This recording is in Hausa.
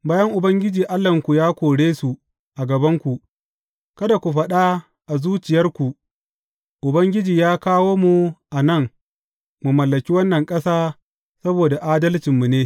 Bayan Ubangiji Allahnku ya kore su a gabanku, kada ku faɗa a zuciyarku, Ubangiji ya kawo mu a nan, mu mallaki wannan ƙasa saboda adalcinmu ne.